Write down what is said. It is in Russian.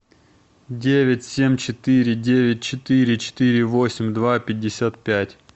девять семь четыре девять четыре четыре восемь два пятьдесят пять